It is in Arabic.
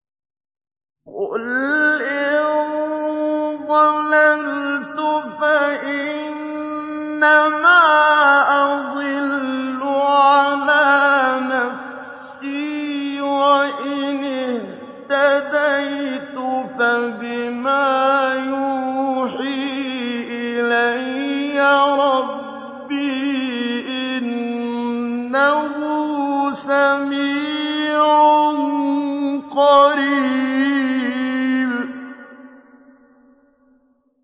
قُلْ إِن ضَلَلْتُ فَإِنَّمَا أَضِلُّ عَلَىٰ نَفْسِي ۖ وَإِنِ اهْتَدَيْتُ فَبِمَا يُوحِي إِلَيَّ رَبِّي ۚ إِنَّهُ سَمِيعٌ قَرِيبٌ